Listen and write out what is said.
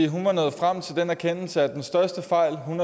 hun var nået frem til den erkendelse at den største fejl hun